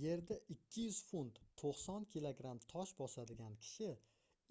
yerda 200 funt 90 kg tosh bosadigan kishi